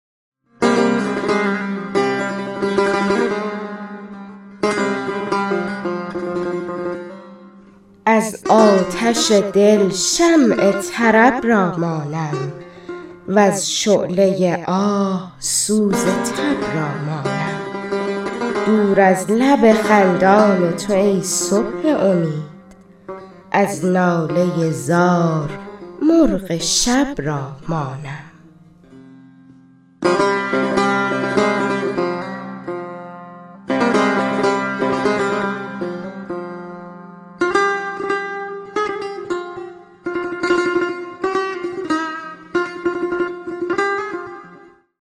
از آتش دل شمع طرب را مانم وز شعله آه سوز تب را مانم دور از لب خندان تو ای صبح امید از ناله زار مرغ شب را مانم